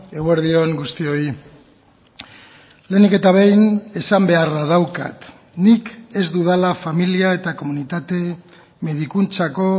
eguerdi on guztioi lehenik eta behin esan beharra daukat nik ez dudala familia eta komunitate medikuntzako